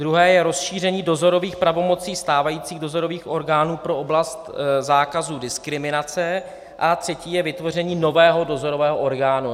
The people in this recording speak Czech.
Druhé je rozšíření dozorových pravomocí stávajících dozorových orgánů pro oblast zákazu diskriminace a třetí je vytvoření nového dozorového orgánu.